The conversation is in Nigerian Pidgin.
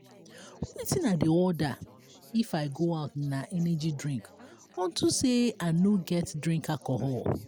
um wetin i dey order if i go out na energy drink unto say i no get drink alcohol